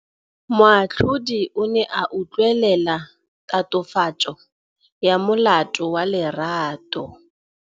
Moatlhodi o ne a utlwelela tatofatsô ya molato wa Lerato.